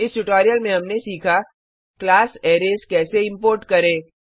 इस ट्यूटोरियल में हमने सीखा क्लास अरैज कैसे इंपोर्ट करें